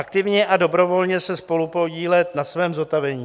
Aktivně a dobrovolně se spolupodílet na svém zotavení.